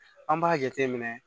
An b'a jate minɛ